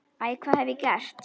Æ, hvað hef ég gert?